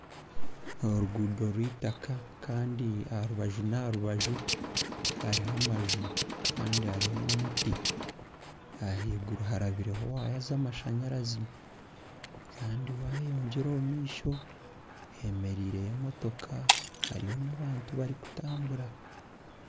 Orugundo rw'eitaaka kandi aha rubaju n'aha rubaju hariho amanju kandi hariho n'omuti ahaiguru harabireho waaya z'amashanyaranzi kandi wayeyongyera omu maisho hemerireyo emotoka hariyo n'abantu abarikutambura.